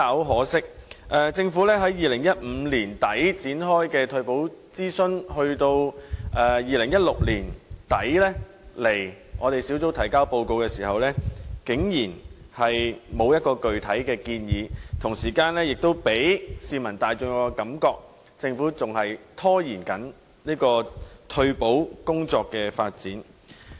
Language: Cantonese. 可惜，政府在2015年年底就退休保障展開的諮詢，至2016年年底向小組委員會提交報告時，竟然沒有提出具體建議，並予市民大眾一種感覺，就是政府仍在拖延退休保障工作的發展。